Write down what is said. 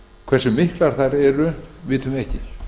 hversu miklar þær eru vitum við ekki